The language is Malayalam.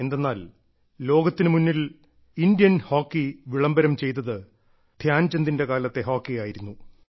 എന്തെന്നാൽ ലോകത്തിനുമുന്നിൽ ഇന്ത്യൻ ഹോക്കി വിളംബരം ചെയ്തത് ധ്യാൻചന്ദിന്റെ കാലത്തെ ഹോക്കി ആയിരുന്നു